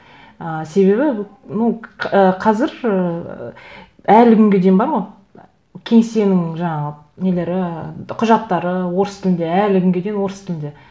ыыы себебі ну қазір ыыы әлі күнге дейін бар ғой кеңсенің жаңағы нелері құжаттары орыс тілінде әлі күнге дейін орыс тілінде